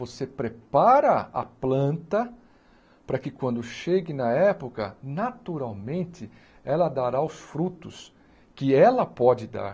Você prepara a planta para que quando chegue na época, naturalmente, ela dará os frutos que ela pode dar.